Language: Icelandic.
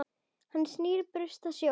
Hann snýr burst að sjó.